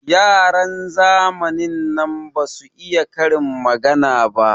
Yaran zamanin nan basu iya karin magana ba.